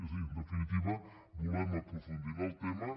és a dir en definitiva volem aprofundir en el tema